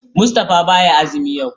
Mustapha baya azumi yau.